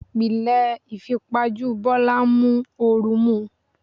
Ìpìlẹ̀ ìfipajú Bọ́lá ń mú oru mú un.